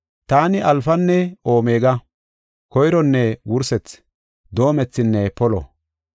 Taani Alfanne Omega; Koyronne Wursethi; Doomethinne Polo.